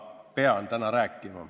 Ma pean täna rääkima.